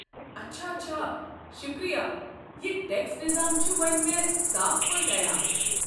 اچھا اچھا، شکریہِ، یہِ ٹٮ۪کس نظام چھُ وۄنۍ مےٚ صاف پٲٹھۍ عیاں۔